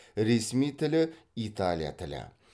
ресми тілі италия тілі